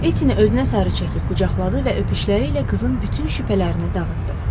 Ettini özünə sarı çəkib qucaqladı və öpüşləri ilə qızın bütün şübhələrini dağıtdı.